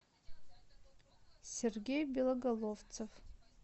сергей белоголовцев